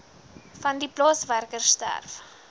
vandie plaaswerker sterf